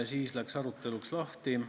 Siis läks aruteluks lahti.